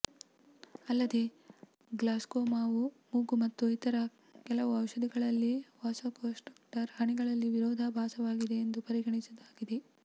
ಅಲ್ಲದೆ ಗ್ಲಾಸ್ಕೋಮಾವು ಮೂಗು ಮತ್ತು ಇತರ ಕೆಲವು ಔಷಧಿಗಳಲ್ಲಿ ವಾಸಕೊನ್ಸ್ಟ್ರಿಕ್ಟರ್ ಹನಿಗಳಲ್ಲಿ ವಿರೋಧಾಭಾಸವಾಗಿದೆಯೆಂದು ಪರಿಗಣಿಸುವುದಾಗಿದೆ